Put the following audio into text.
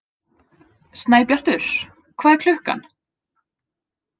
Snæbjartur, hvað er klukkan?